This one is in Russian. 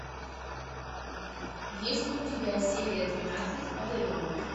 есть ли у тебя серия двенадцать одаренные